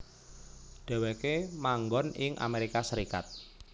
Dheweke manggon ing Amerika Serikat